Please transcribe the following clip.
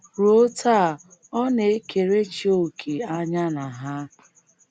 Ruo taa,ọ na - ekerechi òkè anya na ha.